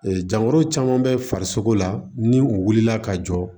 dankoro caman bɛ farisogo la ni u wulila ka jɔ